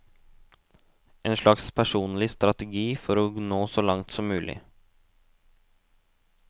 En slags personlig strategi for å nå så langt som mulig.